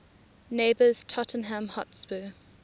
neighbours tottenham hotspur